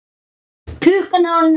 Klukkan er orðin margt.